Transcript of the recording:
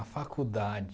A faculdade...